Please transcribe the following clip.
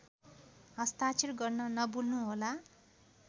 हस्ताक्षर गर्न नभुल्नुहोला